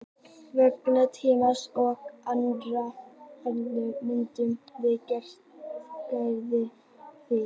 Vegna tímamismunarins og annarra ástæðna myndum við ekkert græða á því.